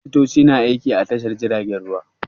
Likitoci na aiki a Tashar jiragen ruwa.